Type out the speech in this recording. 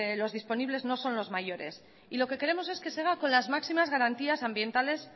los disponibles no son los mayores y lo que queremos es que se haga con las máximas garantías ambientales